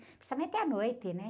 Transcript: Principalmente à noite, né?